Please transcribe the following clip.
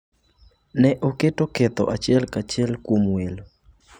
Ne oketo ketho achiel kachiel kuom welo.